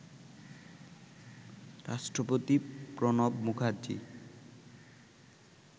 রাষ্ট্রপতি প্রণব মুখার্জী